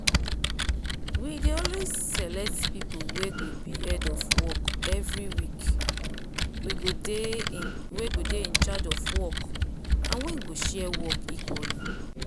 we dey always select people wey go be head of work everyweek we go dey in charge of work and wey go share work equally.